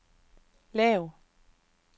lav